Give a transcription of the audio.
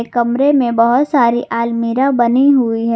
कमरे में बहौत सारी आलमीरा बनी हुई है।